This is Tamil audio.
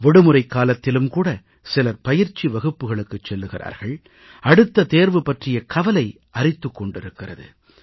விடுமுறைக்காலத்திலும் கூட சிலர் பயிற்சி வகுப்புக்களுக்குச் செல்கிறார்கள் அடுத்த தேர்வு பற்றிய கவலை அரித்துக் கொண்டிருக்கிறது